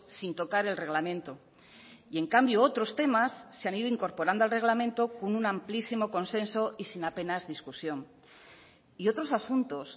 sin tocar el reglamento y en cambio otros temas se han ido incorporando al reglamento con un amplísimo consenso y sin apenas discusión y otros asuntos